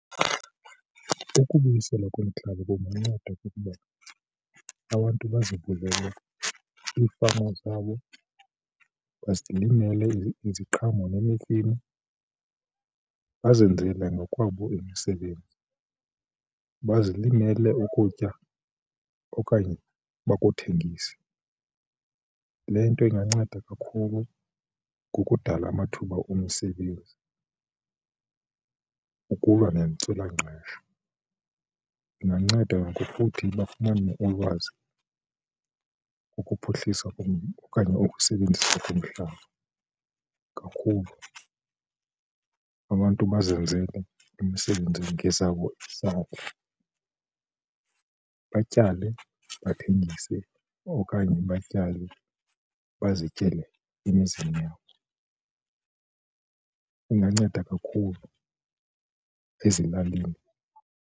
Ukubuyiselwa kwemihlaba kunganceda ngokuba abantu baza kuvela iifama zabo bazilimele iziqhamo nemifino bazenzele ngokwabo imisebenzi, bazilimele ukutya okanye bakuthengise. Le nto inganceda kakhulu kukudala amathuba omsebenzi ukulwa nentswelangqesho. Inganceda ngokuthi bafumane ulwazi, ukuphuhlisa kum okanye ukusebenzisa kumhlaba kakhulu. Abantu bazenzele imisebenzi ngezabo izandla, batyale bathengise okanye batyale bazityele emizini yabo. Inganceda kakhulu ezilalini.